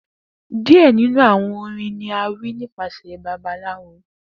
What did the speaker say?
Diẹ ninu awọn orin ni a wi nipasẹ àwọn babaláwo